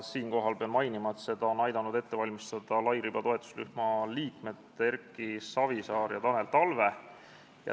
Siinkohal pean mainima, et seda on aidanud ette valmistada lairiba toetusrühma liikmed Erki Savisaar ja Tanel Talve.